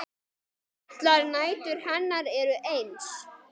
Allar nætur hennar eru eins.